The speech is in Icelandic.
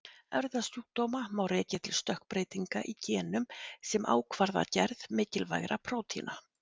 Erfðasjúkdóma má rekja til stökkbreytinga í genum sem ákvarða gerð mikilvægra prótína.